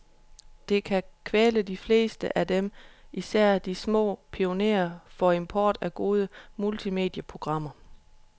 Det kan kvæle de fleste af dem, især de små pionerer for import af gode multimedieprogrammer.